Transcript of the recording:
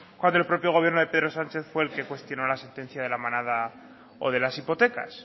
cuando el propio gobierno de pedro sánchez fue el que cuestionó la sentencia de la manada o de las hipotecas